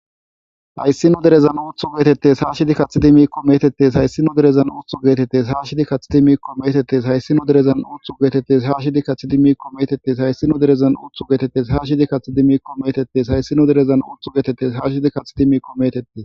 Hayssino derezan uthu geetettes haashidi kathidi miikko metettes hayssinu derezan uthu geetettes aashidi kathidi miikko metettes hayssino derezan uthu geetettes haashidi kathidi miikko metettes hayssino derezan uthu geetettes haashidi kathidi miikko metettes hayssino derezan uthu geetettes haashidi kathidi miiqo metette.